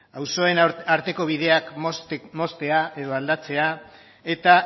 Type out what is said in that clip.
auzoen arteko bideak moztea edo aldatzea eta